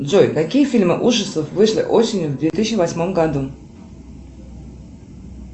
джой какие фильмы ужасов вышли осенью в две тысячи восьмом году